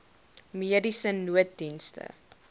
mediese nooddienste